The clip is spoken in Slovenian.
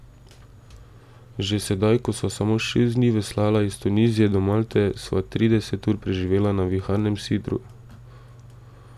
Že sedaj, ko sva samo šest dni veslala iz Tunizije do Malte, sva trideset ur preživela na viharnem sidru.